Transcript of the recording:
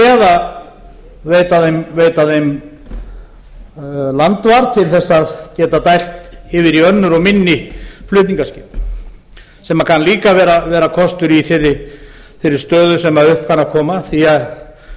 eða veita þeim landvar til þess að geta dælt yfir í önnur og minni flutningaskip sem kann líka að vera kostur í þeirri stöðu sem upp kann að koma því að